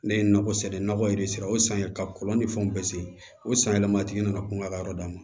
Ne ye nakɔ sɛnɛ nakɔ yɛrɛ sera o san yen ka kɔlɔn ni fɛnw bɛɛ sen o san yɛlɛma a tigi nana kungo la yɔrɔ d'a ma